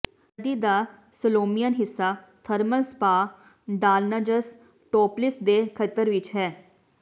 ਨਦੀ ਦਾ ਸਲੋਮੀਅਨ ਹਿੱਸਾ ਥਰਮਲ ਸਪਾ ਡਾਲਨਜਸ ਟੋਪਲਿਸ ਦੇ ਖੇਤਰ ਵਿੱਚ ਹੈ